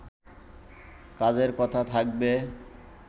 কাজের কথা থাকবে